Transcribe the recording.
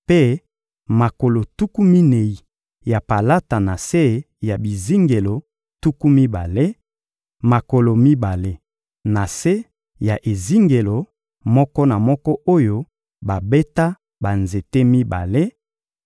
mpe makolo tuku minei ya palata na se ya bizingelo tuku mibale: makolo mibale na se ya ezingelo moko na moko oyo babeta banzete mibale;